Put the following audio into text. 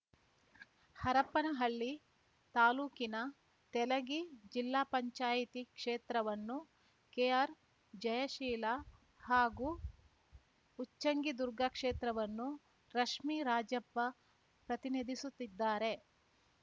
ಹರಪ್ಪನಹಳ್ಳಿ ತಾಲೂಕಿನ ತೆಲಗಿ ಜಿಲ್ಲಾ ಪಂಚಾಯಿತಿ ಕ್ಷೇತ್ರವನ್ನು ಕೆಆರ್‌ ಜಯಶೀಲಾ ಹಾಗೂ ಉಚ್ಚಂಗಿದುರ್ಗ ಕ್ಷೇತ್ರವನ್ನು ರಶ್ಮಿ ರಾಜಪ್ಪ ಪ್ರತಿನಿಧಿಸುತ್ತಿದ್ದಾರೆ